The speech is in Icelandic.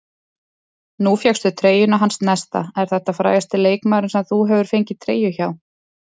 Nú fékkstu treyjuna hans Nesta, er þetta frægasti leikmaðurinn sem þú hefur fengið treyju hjá?